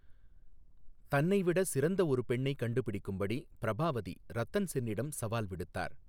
தன்னை விட சிறந்த ஒரு பெண்ணைக் கண்டுபிடிக்கும்படி பிரபாவதி ரத்தன் சென்னிடம் சவால் விடுத்தார்.